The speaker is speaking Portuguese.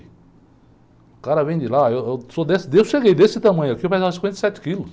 O cara vem de lá, eu, eu sou deste, eu cheguei desse tamanho aqui, eu pesava cinquenta e sete quilos.